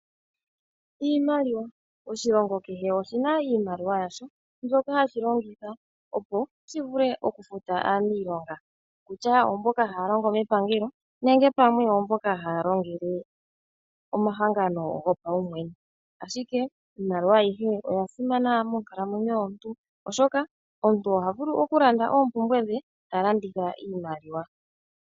Iimaliwa Oshilongo kehe oshina iimaliwa yasho mbyoka hashi longitha opo shivule okufuta aaniilonga, okutya oomboka haya longo mepangelo nenge pamwe oomboka haya longele omahangano gopaumwene. Ashike iimaliwa ayihe oya simana monkalamwenyo yomuntu oshoka omuntu oha vulu okulanda oompumbwe dhe ta landitha iimaliwa.